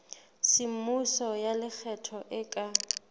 semmuso ya lekgetho e ka